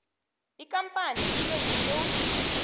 ikampani ibe yiclose